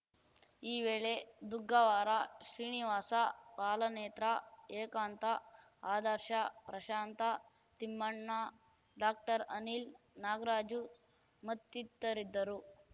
ಈ ವೇಳೆ ದುಗ್ಗಾವರ ಶ್ರೀನಿವಾಸ ಪಾಲನೇತ್ರ ಏಕಾಂತ ಆದರ್ಶ ಪ್ರಶಾಂತ ತಿಮ್ಮಣ್ಣ ಡಾಕ್ಟರ್ಅನಿಲ್‌ ನಾಗರಾಜು ಮತ್ತಿತರಿದ್ದರು